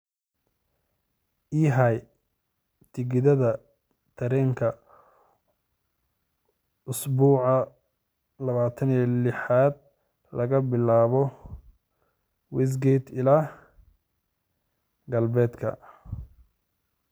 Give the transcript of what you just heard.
I hay tigidhka tareenka usbuuca 26-aad laga bilaabo westgate ilaa galbeedka